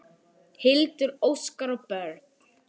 Hildur, Óskar og börn.